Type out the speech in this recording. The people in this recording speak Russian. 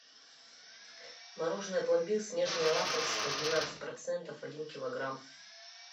мороженое пломбир снежное лакомство двенадцать процентов один килограмм